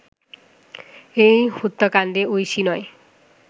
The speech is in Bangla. এই হত্যাকাণ্ডে ঐশী নয়